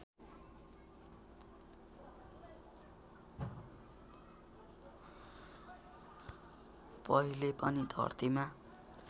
पहिले पनि धरतीमा